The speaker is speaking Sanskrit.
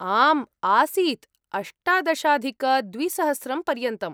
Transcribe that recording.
आम् आसीत्, अष्टादशाधिकद्विसहस्रं पर्यन्तम्।